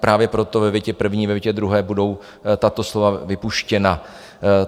Právě proto ve větě první, ve větě druhé budou tato slova vypuštěna.